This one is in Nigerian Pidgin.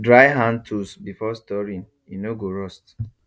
dry hand tools before storing e no go rust